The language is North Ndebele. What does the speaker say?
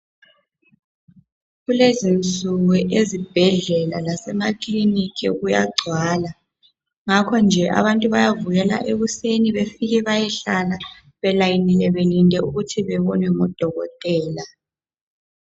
Kulezi nsuku azibhedlela lasemakliniki kuyagcwala ngakho nje abantu bayavukela ekuseni bafike beyehlala belayinile belinde ukuthi bebonwe ngodokotela.